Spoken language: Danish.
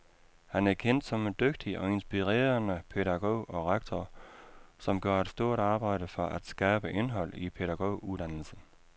Han er kendt som en dygtig og inspirerende pædagog og rektor, som gør et stort arbejde for at skabe indhold i pædagoguddannelsen.